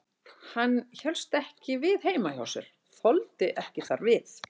Hann hélst ekki við heima hjá sér, þoldi ekki þar við.